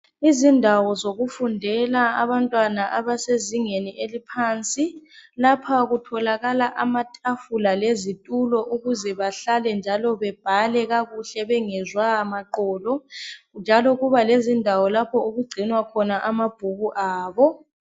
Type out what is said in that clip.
Izindawo zokufundela abantwana abasezingeni eliphansi lapha kutholakala amatafula lezitulo ukuze bahlale njalo bebhale kakuhle bengezwa maqolo njalo kuba lezindawo lapho okugcinwa khona amabhuku abo.